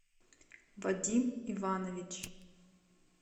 вадим иванович